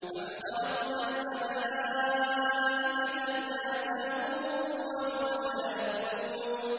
أَمْ خَلَقْنَا الْمَلَائِكَةَ إِنَاثًا وَهُمْ شَاهِدُونَ